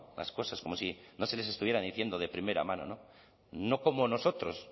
las cosas como si no se les estuviera diciendo de primera mano no como nosotros